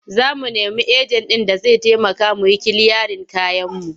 Za mu nemi ejen ɗin da zai taimaka mu yi kiliyarin kayanmu.